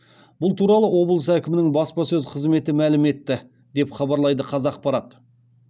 бұл туралы облыс әкімінің баспасөз қызметі мәлім етті деп хабарлайды қазақпарат